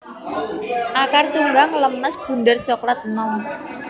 Akar Tunggang lemes bunder coklat enom